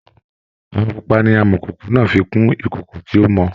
Àwọn pupa ni amọ̀kòkò náà fi kun ìkòkò tí ó mọ